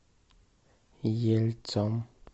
ельцом